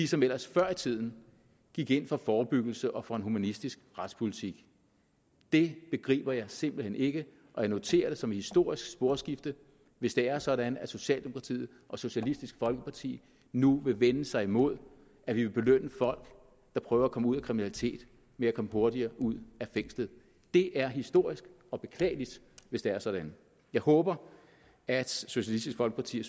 som ellers før i tiden gik ind for forebyggelse og for en humanistisk retspolitik det begriber jeg simpelt hen ikke og jeg noterer det som et historisk sporskifte hvis det er sådan at socialdemokratiet og socialistisk folkeparti nu vil vende sig imod at vi vil belønne folk der prøver at komme ud af kriminalitet med at komme hurtigere ud af fængslet det er historisk og beklageligt hvis det er sådan jeg håber at socialistisk folkeparti